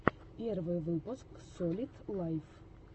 первый выпуск солид лайв